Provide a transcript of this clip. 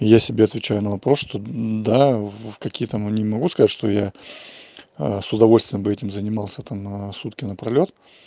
я себе отвечаю на вопрос что да в какие там они могу сказать что я а с удовольствием бы этим занимался там на сутки напролёт